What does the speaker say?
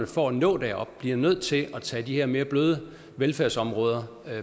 for at nå derop bliver nødt til at tage de her mere bløde velfærdsområder